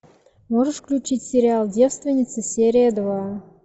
можешь включить сериал девственница серия два